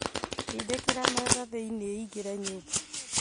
Ndindĩkĩra metha thĩiniĩ ĩingĩre nyũmba